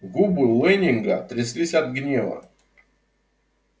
губы лэннинга тряслись от гнева